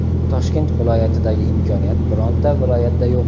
Toshkent viloyatidagi imkoniyat bironta viloyatda yo‘q.